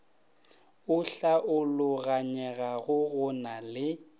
o hlaologanyegago go na le